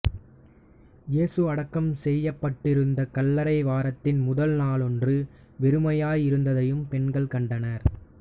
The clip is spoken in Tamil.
இயேசு அடக்கம் செய்யப்பட்டிருந்த கல்லறை வாரத்தின் முதல் நாளன்று வெறுமையாய் இருந்ததையும் பெண்கள் கண்டனர்